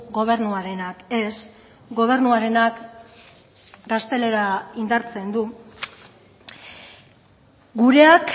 gobernuarenak ez gobernuarenak gaztelera indartzen du gureak